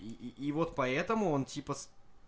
и и вот поэтому он типа с